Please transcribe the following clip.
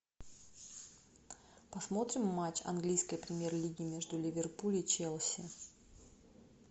посмотрим матч английской премьер лиги между ливерпуль и челси